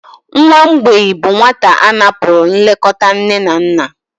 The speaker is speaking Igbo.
Nwa mgbei bụ nwata a napụrụ nlekọta nne na nna.